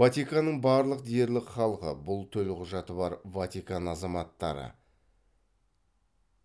ватиканның барлық дерлік халқы бұл төлқұжаты бар ватикан азаматтары